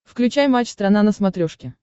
включай матч страна на смотрешке